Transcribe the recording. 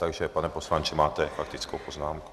Takže pane poslanče, máte faktickou poznámku.